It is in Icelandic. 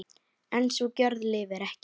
En sú gjörð lifir ekki.